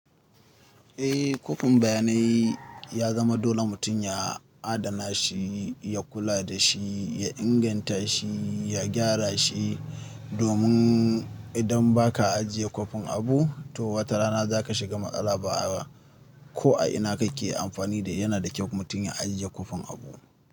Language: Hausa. Eh, kwafin bayanai ya zama dole mutum ya adana shi, ya kula da shi, ya inganta shi, ya gyara shi. Domin idan ba ka ajiye kwafin abu, to wata rana za ka shiga maƙala ba a ko a ina kake amfani da yana da kyau mutum ya ajiye kwafin abu.